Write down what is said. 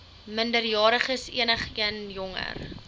minderjariges enigeen jonger